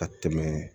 Ka tɛmɛ